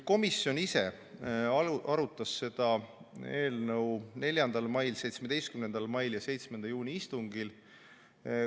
Komisjon ise arutas seda eelnõu 4. mai, 17. mai ja 7. juuni istungil.